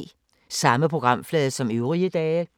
Samme programflade som øvrige dage